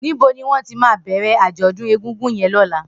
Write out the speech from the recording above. Nibó niwọn mà ti bẹrẹ ájọ̀dún égúngún yèn lọ̀lá?